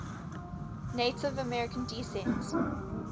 native american descent